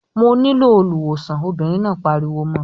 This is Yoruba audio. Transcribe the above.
"Mo nílò olùwòsàn" Obìnrin náà pariwo mọ́ ọ.